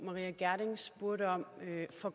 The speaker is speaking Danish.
få